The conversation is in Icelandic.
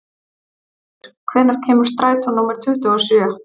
Vogur, hvenær kemur strætó númer tuttugu og sjö?